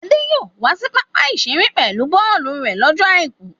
Adé yóò wá sí pápá-ìṣeré pẹ̀lú bọ́ọ́lù rẹ̀ slọ́jọ́ àìkú.